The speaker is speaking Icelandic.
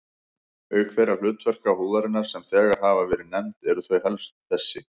Auk þeirra hlutverka húðarinnar, sem þegar hafa verið nefnd, eru þau helstu þessi